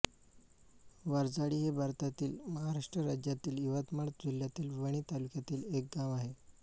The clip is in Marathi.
वारझाडी हे भारतातील महाराष्ट्र राज्यातील यवतमाळ जिल्ह्यातील वणी तालुक्यातील एक गाव आहे